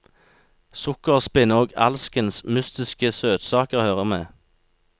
Sukkerspinn og alskens mystiske søtsaker hører med.